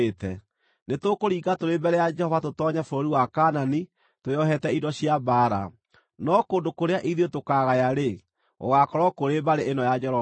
Nĩtũkũringa tũrĩ mbere ya Jehova tũtoonye bũrũri wa Kaanani twĩohete indo cia mbaara, no kũndũ kũrĩa ithuĩ tũkaagaya-rĩ, gũgaakorwo kũrĩ mbarĩ ĩno ya Jorodani.”